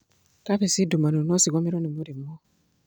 kabeci ndumanu nocigũmĩrwo nĩ mĩrimũ.